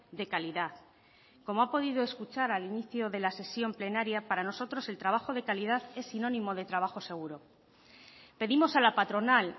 de calidad como ha podido escuchar al inicio de la sesión plenaria para nosotros el trabajo de calidad es sinónimo de trabajo seguro pedimos a la patronal